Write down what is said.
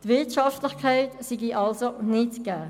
Die Wirtschaftlichkeit wäre also nicht gegeben.